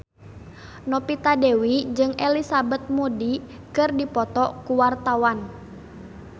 Novita Dewi jeung Elizabeth Moody keur dipoto ku wartawan